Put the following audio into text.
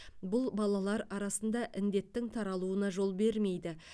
бұл балалар арасында індеттің таралуына жол бермейді